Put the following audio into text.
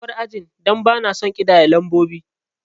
Na bar ajin dan bana son kiɗaye lambobi